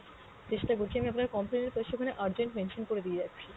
চেষ্টা করছি, আমি আপনার complain এর পাশে ওখানে urgent mention করে দিয়ে রাখছি।